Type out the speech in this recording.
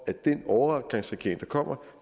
at den overgangsregering der kommer